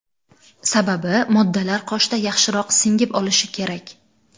Sababi moddalar qoshda yaxshiroq singib olishi kerak.